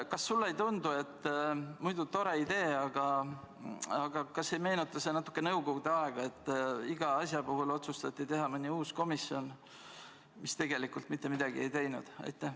Kas sulle ei tundu, et muidu tore idee, aga kas ei meenuta see natuke nõukogude aega, kui iga asja puhul otsustati teha mõni uus komisjon, mis tegelikult mitte midagi ei teinud?